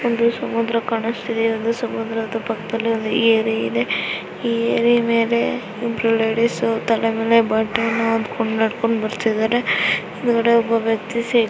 ಇಲ್ಲಿ ಸಮುದ್ರ ಕಾಣಿಸುತ್ತಿದೆ ಒಂದು ಸಮುದ್ರದ ಪಕ್ಕದಲ್ಲಿ ಏರಿ ಇದೆ ಏರಿ ಮೇಲೆ ಇಬ್ಬರು ಲೇಡೀಸ್ ತಲೆ ಮೇಲೆ ಬಟ್ಟೆಯನ್ನು ಹೊತ್ತಿಕೊಂಡು ನಡೆದುಕೊಂಡು ಬರುತ್ತಿದ್ದಾರೆ ಬೇರೆ ಒಬ್ಬ ವ್ಯಕ್ತಿ ಸೈ--